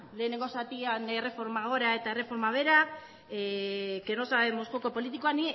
lehenengo zatian erreforma gora eta erreforma behera que no sabemos joko politikoa